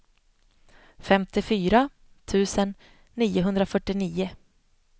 femtiofyra tusen niohundrafyrtionio